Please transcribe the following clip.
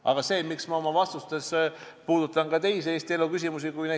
Aga miks ma oma vastustes puudutan ka teisi Eesti elu küsimusi?